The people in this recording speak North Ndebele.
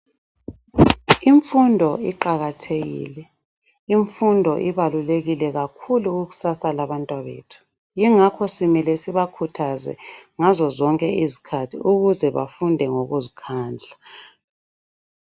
Imfundo iqakathekile, imfundo ibalulekile kakhulu kukusasa labantwana bethu. Yingakho kumele sibakhuthaze ngazo zonke izikhathi ukuze befunde ngokuzikhandla.